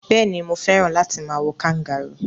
Béèni, mo fẹ́ràn láti ma wo kangaroo